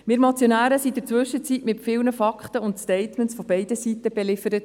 Wir Motionäre wurden in der Zwischenzeit mit vielen Fakten und Statements beider Seiten beliefert.